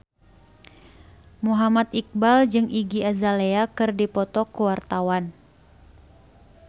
Muhammad Iqbal jeung Iggy Azalea keur dipoto ku wartawan